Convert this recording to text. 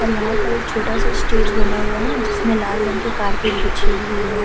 और यहाँ पर एक छोटा-सा स्टेज बना हुआ है जिसमें लाल रंग के कार्पेट बिछे हुए है।